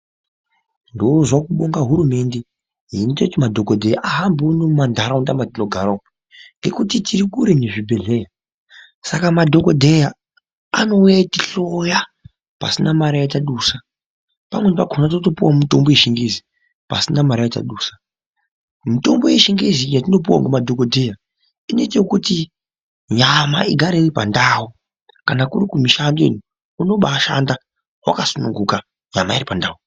Ndozwa kubonga hurumende yaite kuti madhokodheya ahambe muno mumanharaunda mwetinogara umu ngekuti tiri kure nezvibhehleya saka madhokodheya anouya achihloya pasina mare yatadusa ,pamweni pakona totopuwawo mutombo yechingezi pasina mare yatadusa ,mitombo yechingezi iyi yatinopuwa ngemadhokodheya inoite kuti nyama igare iripandau ,kana kuri kumishando ino unobaashanda wakasununguka nyama iripandau.